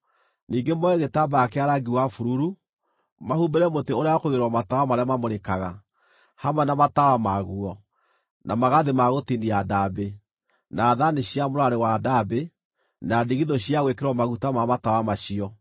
“Ningĩ moe gĩtambaya kĩa rangi wa bururu, mahumbĩre mũtĩ ũrĩa wa kũigĩrĩrwo matawa marĩa mamũrĩkaga, hamwe na matawa maguo, na magathĩ ma gũtinia ndaambĩ, na thaani cia mũrarĩ wa ndaambĩ, na ndigithũ cia gwĩkĩrwo maguta ma matawa macio.